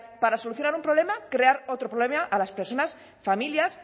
para solucionar un problema crear otro problema a las personas familias